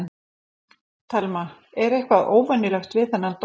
Telma: Er eitthvað óvenjulegt við þennan dóm?